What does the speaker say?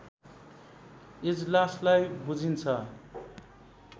इजलासलाई बुझिन्छ